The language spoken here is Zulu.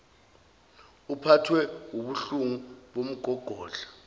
uphathwe wubuhlungu bomgogodla